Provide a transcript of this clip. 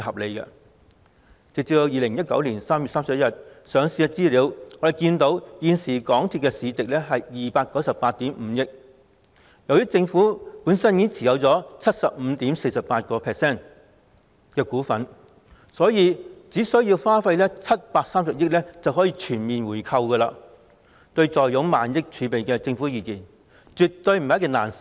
從截至2019年3月31日的上市資料可見，現時港鐵公司的市值是298億 5,000 萬元，由於政府已經持有 75.48% 股份，所以只須730億元便可全面回購，對坐擁萬億儲備的政府而言，絕對不是難事。